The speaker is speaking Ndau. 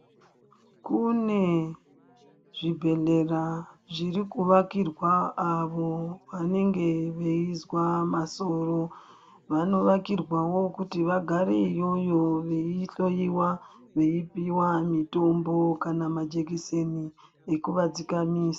Kune zvibhedhlera zviri kuvakirwa avo vanenge veizwa masoro vanovàkirwawo kuti vagare iyoyo vei hloiwa veipiwa mutombo kana majekiseni ekuvadzikamisa.